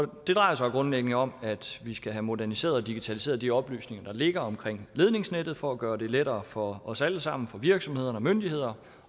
drejer sig jo grundlæggende om at vi skal have moderniseret og digitaliseret de oplysninger der ligger om ledningsnettet for at gøre det lettere for os alle sammen for virksomheder for myndigheder